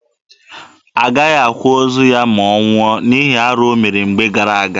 Agaghị akwa ozu ya ma ọ nwụọ, n'ihi arụ o mere mgbe gara aga.